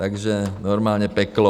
Takže normálně peklo.